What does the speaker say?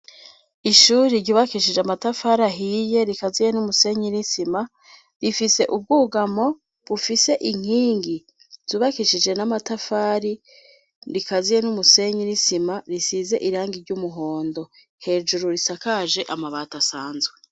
Ishuri ryubakishije amatafar' ahiye, rikaziye n'umusenyi n'isima rifise ubwugamo bufise inkingi zubakishije n'amatafari ,rikaziye n'umusenyi n'isima risize irangi ry'umuhondo hejuru risakaje amabati asanzwe.